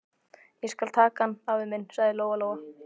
Ég skal taka hann, afi minn, sagði Lóa-Lóa.